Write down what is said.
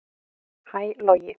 Hæ Logi